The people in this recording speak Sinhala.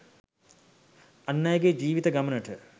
අන් අයගේ ජීවිත ගමනට